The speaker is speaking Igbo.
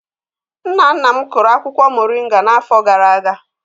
Nna nna m kụrụ akwukwo moringa n'afọ gara-aga.